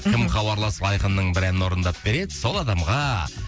кім хабарласып айқынның бір әнін орындап береді сол адамға